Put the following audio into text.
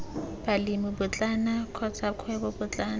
balemi potlana kotsa kgwebo potlana